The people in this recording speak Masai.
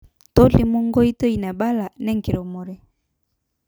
Tolimu nkoitoi naibala nenkirremore